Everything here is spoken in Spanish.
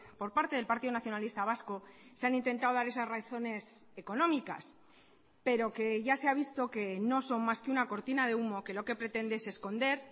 por parte del partido nacionalista vasco se han intentado dar esas razones económicas pero que ya se ha visto que no son más que una cortina de humo que lo que pretende es esconder